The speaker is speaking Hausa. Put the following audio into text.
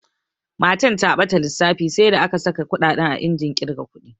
Matan ta ɓata lissafi sai da aka saƙa kuɗaɗen a injin ƙirga ƙudi.